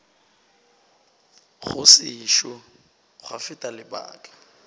go sešo gwa feta lebaka